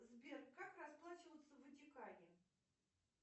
сбер как расплачиваться в ватикане